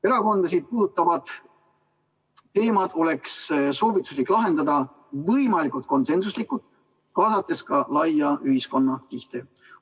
Erakondasid puudutavad teemad oleks soovituslik lahendada võimalikult konsensuslikult, kaasates ka laiemaid ühiskonnakihte.